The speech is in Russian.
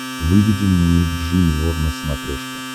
выведи мне ник джуниор на смотрешке